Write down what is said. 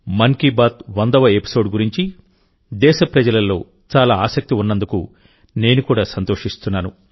మన్ కీ బాత్ వందవ ఎపిసోడ్ గురించి దేశ ప్రజలలో చాలా ఆసక్తి ఉన్నందుకు నేను కూడా సంతోషిస్తున్నాను